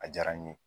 A diyara n ye